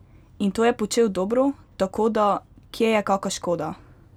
In to je počel dobro, tako, da, kje je kaka škoda?